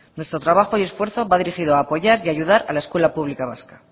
nuestro trabajo y esfuerzo va dirigido a apoyar y a ayudar a la escuela pública vasca